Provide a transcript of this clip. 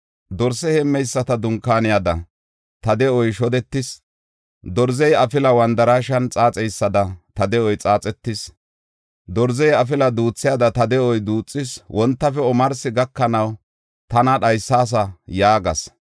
Dorse heemmeyisata dunkaaniyada, ta de7oy shodetis. Dorzey afila wandaraashen xaaxeysada, ta de7oy xaaxetis. Dorzey afila duuthiyada, ta de7uwa duuthis. Wontafe omarsi gakanaw tana dhaysaasa” yaagas.